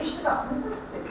O keçdi qapını.